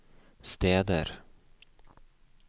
steder